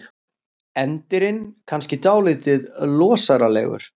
Endirinn kannski dálítið losaralegur.